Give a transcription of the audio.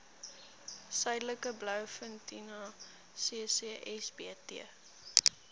suidelike blouvintuna ccsbt